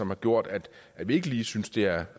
har gjort at vi ikke lige synes det er